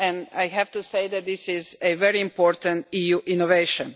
I have to say that this is a very important EU innovation.